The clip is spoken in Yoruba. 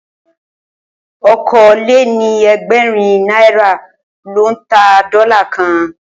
Okòó lé ní ẹgbẹ́rin nàirá lò n tá dòlá kàn